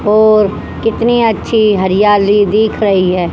और कितनी अच्छी हरियाली दिख रही है।